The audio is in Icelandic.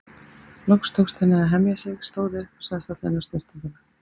Loks tókst henni að hemja sig, stóð upp og sagðist ætla inn á snyrtinguna.